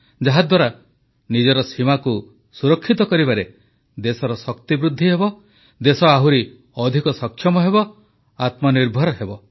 ଯାହାଦ୍ୱାରା ନିଜର ସୀମାକୁ ସୁରକ୍ଷିତ କରିବାରେ ଦେଶର ଶକ୍ତି ବୃଦ୍ଧିହେବ ଦେଶ ଆହୁରି ଅଧିକ ସକ୍ଷମ ହେବ ଆତ୍ମନିର୍ଭର ହେବ